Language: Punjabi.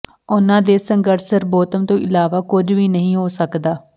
ਉਨ੍ਹਾਂ ਦੇ ਸੰਘਰਸ਼ ਸਰਬੋਤਮ ਤੋਂ ਇਲਾਵਾ ਕੁਝ ਵੀ ਨਹੀਂ ਹੋ ਸਕਦਾ